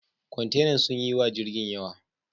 Kwantenan sun yi wa jirgin yawa.